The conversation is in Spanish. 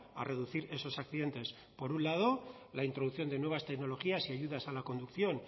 a reducir esos accidentes por un lado la introducción de nuevas tecnologías y ayudas a la conducción